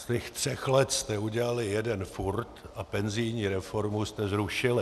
Z těch třech letech jste udělali jeden furt a penzijní reformu jste zrušili.